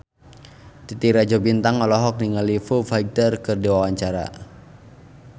Titi Rajo Bintang olohok ningali Foo Fighter keur diwawancara